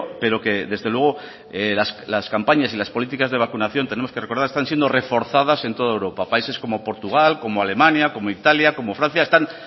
pero que desde luego las campañas y las políticas de vacunación tenemos que recordar están siendo reforzadas en toda europa países como portugal como alemania como italia como francia